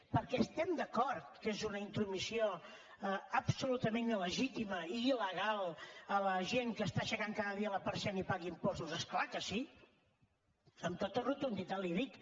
perquè estem d’acord que és una intromissió absolutament il·legítima i il·legal a la gent que està aixecant cada dia la persiana i paga impostos és clar que sí amb tota rotunditat li ho dic